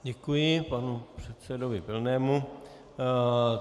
Děkuji panu předsedovi Pilnému.